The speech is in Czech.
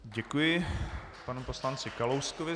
Děkuji panu poslanci Kalouskovi.